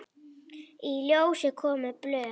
Í ljós komu blöð.